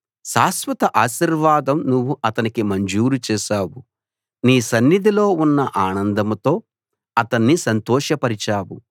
శాశ్వత ఆశీర్వాదం నువ్వు అతనికి మంజూరు చేశావు నీ సన్నిధిలో ఉన్న ఆనందంతో అతన్ని సంతోషపరిచావు